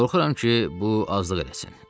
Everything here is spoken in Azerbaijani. Qorxuram ki, bu azlıq eləsin.